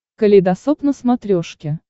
калейдосоп на смотрешке